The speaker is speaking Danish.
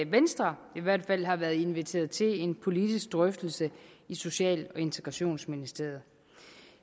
venstre i hvert fald har været inviteret til en politisk drøftelse i social og integrationsministeriet